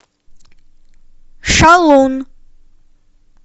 шалун